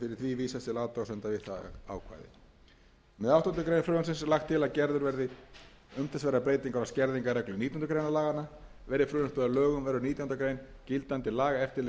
greinar frumvarpsins er lagt til að gerðar verði umtalsverðar breytingar á skerðingarreglu nítjánda grein laganna verði frumvarpið að lögum verður nítjánda grein gildandi laga eftirleiðis fyrstu málsgrein nítjánda grein að undanskildum